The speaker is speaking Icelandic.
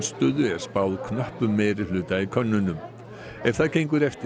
spáð knöppum meirihluta í könnunum ef það gengur eftir